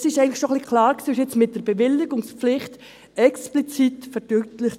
Das ist eigentlich schon ein wenig klar und wurde jetzt mit der Bewilligungspflicht explizit verdeutlicht.